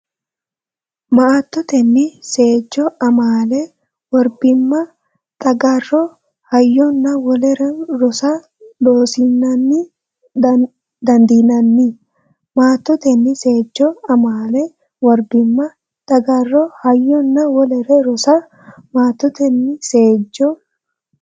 Maattotenni seejjo amaale worbimma xagarro hayyonna wolere rosa Loossinanni dandiinanni Maattotenni seejjo amaale worbimma xagarro hayyonna wolere rosa Maattotenni seejjo.